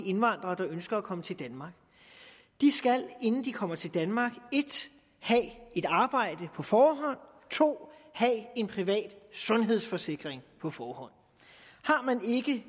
indvandrere der ønsker at komme til danmark de skal inden de kommer til danmark 1 have et arbejde på forhånd 2 have en privat sundhedsforsikring på forhånd